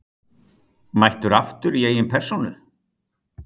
Mættur aftur í eigin persónu!